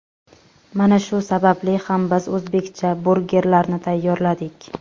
Mana shu sababli ham biz o‘zbekcha burgerlarni tayyorladik.